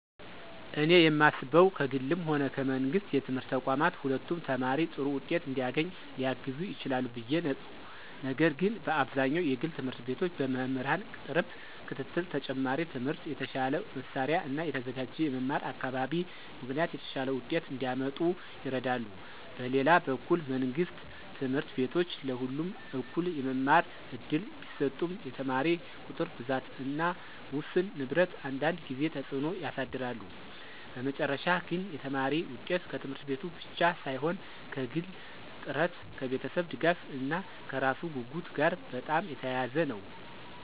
እኔ የማስበው ከግልም ሆነ ከመንግሥት የትምህርት ተቋማት ሁለቱም ተማሪ ጥሩ ውጤት እንዲያገኝ ሊያግዙ ይችላሉ ብዬ ነው፤ ነገር ግን በአብዛኛው የግል ት/ቤቶች በመምህራን ቅርብ ክትትል፣ ተጨማሪ ትምህርት፣ የተሻለ መሳሪያ እና የተዘጋጀ የመማር አካባቢ ምክንያት የተሻለ ውጤት እንዲያመጡ ይረዳሉ። በሌላ በኩል መንግሥት ት/ቤቶች ለሁሉም እኩል የመማር እድል ቢሰጡም የተማሪ ቁጥር ብዛት እና ውስን ንብረት አንዳንድ ጊዜ ተጽዕኖ ያሳድራሉ። በመጨረሻ ግን የተማሪ ውጤት ከት/ቤቱ ብቻ ሳይሆን ከግል ጥረት፣ ከቤተሰብ ድጋፍ እና ከራሱ ጉጉት ጋር በጣም የተያያዘ ነው።